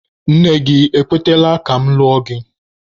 Nne gị ekwetela ka mụ lụọ gị?